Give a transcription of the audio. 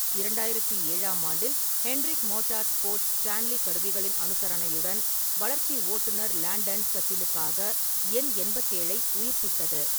இரண்டாயிரத்தி ஏழாம் ஆண்டில், ஹெண்ட்ரிக் மோட்டார்ஸ்போர்ட்ஸ் ஸ்டான்லி கருவிகளின் அனுசரணையுடன் வளர்ச்சி ஓட்டுநர் லாண்டன் கசிலுக்காக எண் எண்பத்தி ஏழை உயிர்ப்பித்தது.